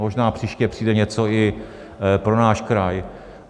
Možná příště přijde něco i pro náš kraj.